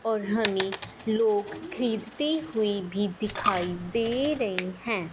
और हमें लोग खरीदते हुए भी दिखाई दे रहे हैं।